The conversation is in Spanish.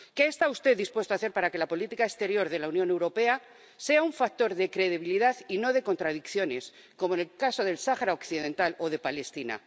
¿Qué está usted dispuesto a hacer para que la política exterior de la Unión Europea sea un factor de credibilidad y no de contradicciones, como en el caso del Sahara Occidental o de Palestina?